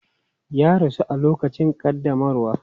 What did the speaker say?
Ya rasu a lokacin ƙaddamarwa.